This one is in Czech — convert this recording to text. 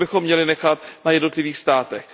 To bychom měli nechat na jednotlivých státech.